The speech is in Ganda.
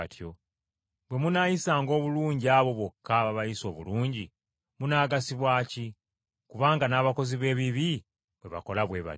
Bwe munaayisanga obulungi abo bokka ababayisa obulungi, munaagasibwa ki? Kubanga n’abakozi b’ebibi bwe bakola bwe batyo.